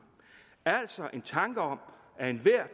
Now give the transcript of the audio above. altså en tanke om at enhver